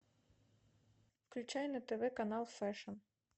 включай на тв канал фэшн